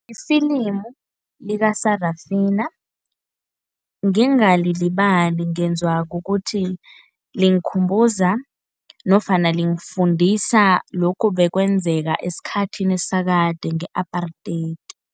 Ifilimu lika-Sarafina ngingalilibali ngenziwa kukuthi, lingikhumbuza nofana lingifundisa lokhu bekwenzeka esikhathini sakade nge-apartheid.